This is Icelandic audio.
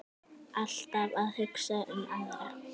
Alltaf að hugsa um aðra.